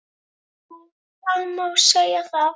Jú, það má segja það.